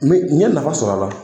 N ye nafa sɔrɔ a la .